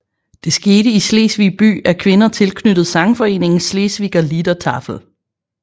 Det skete i Slesvig by af kvinder tilknyttet sangforeningen Schleswiger Liedertafel